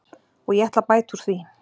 Og ég ætla að bæta úr því.